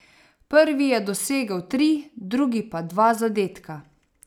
Prvi je dosegel tri, drugi pa dva zadetka.